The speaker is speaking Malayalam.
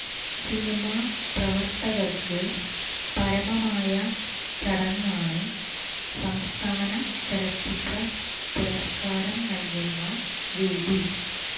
സിനിമാ പ്രവർത്തകർക്ക് പരമമായ ചടങ്ങാണ് സംസ്ഥാന ചലച്ചിത്ര പുരസ്കാരം നൽകുന്ന വേദി